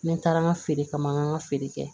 Ne taara n ka feere kama feere kɛ